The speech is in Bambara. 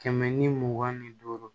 Kɛmɛ ni mugan ni duuru